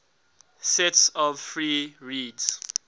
sets of free reeds